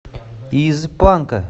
из панка